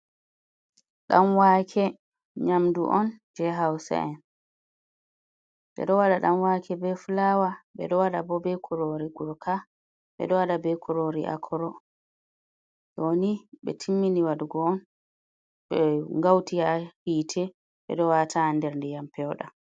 Danwake nyamdu’on je hausa en edo wada dam wake be fulawa ,bedo wada bo be kurori gurka be do wada be kurori a kuro doni be timmini wadugo on be ngauti ha hite bedo wataanderdiyam pewdam.